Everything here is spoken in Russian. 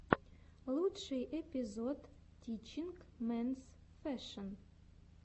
лучший эпизод тичинг менс фэшэн